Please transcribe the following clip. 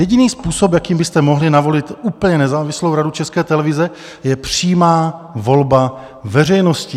Jediný způsob, jakým byste mohli navolit úplně nezávislou Radu České televize, je přímá volba veřejností.